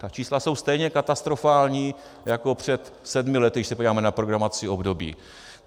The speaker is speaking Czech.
Ta čísla jsou stejně katastrofální jako před sedmi lety, když se podíváme na programovací období.